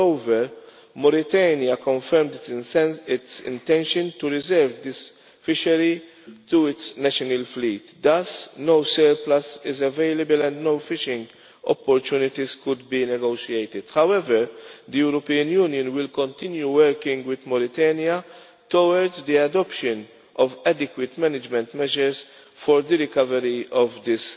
Moreover, Mauritania confirmed its intention to reserve this fishery for its national fleet, thus no surplus is available and no fishing opportunities could be negotiated. However, the European Union will continue working with Mauritania towards the adoption of adequate management measures for the recovery of